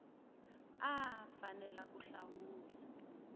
a a fanele ku hlawula